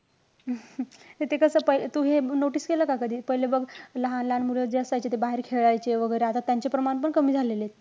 हे ते कस प~ तू हे notice केलं का कधी? पहिले बघ, लहान-लहान मुलं जे असायचे, ते बाहेर खेळायचे वैगरे. आता त्यांचे प्रमाण पण कमी झालेले आहेत.